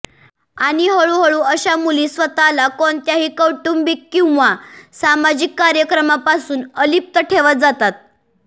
आणि हळूहळू अशा मुली स्वतःला कोणत्याही कौटुंबिक किंवा सामाजिक कार्यक्रमापासून अलिप्त ठेवत जातात